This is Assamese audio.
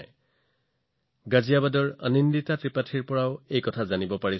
মই গাজিয়াবাদৰ পৰা আনন্দিতা ত্ৰিপাঠীৰ পৰা এটা বাৰ্তা পাইছো